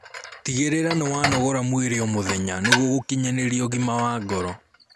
Tigiririra niwanogora mwĩrĩ o mũthenya nĩguo gukinyanirĩa ũgima wa ngoro